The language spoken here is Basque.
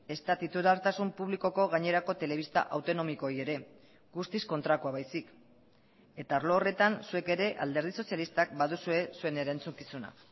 ezta titulartasun publikoko gainerako telebista autonomikoei ere guztiz kontrakoa baizik eta arlo horretan zuek ere alderdi sozialistak baduzue zuen erantzukizuna